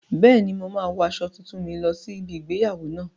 Bẹ́ẹ̀ni, mo máa wo aṣọ tuntun mi lọ sí ibi igbéyàwó náà